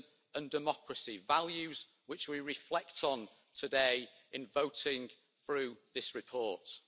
and, if necessary, lead by example when it comes to such issues as human rights or global warming.